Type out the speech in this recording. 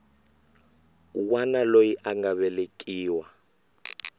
wana loyi a nga velekiwa